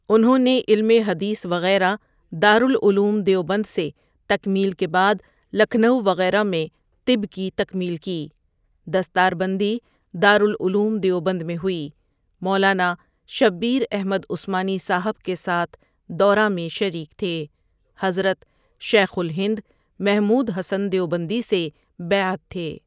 انہوں نے علم حدیث وغیرہ دارالعلوم دیوبند سے تکمیل کے بعد لکھنؤ وغیرہ میں طب کی تکمیل کی، دستار بندی دارالعلوم دیوبند میں ہوئ، مولانا شبیر احمد عثمانی صاحب کے ساتھ دورہ میں شریک تھے، حضرت شیخ الہند محمود حسن دیوبندی ؒؒ سے بیعت تھے۔